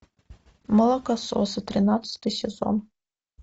молокососы тринадцатый сезон